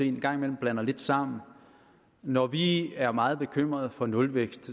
en gang imellem blander lidt sammen når vi er meget bekymret for nulvækst